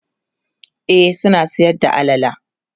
e suna Sayar da alala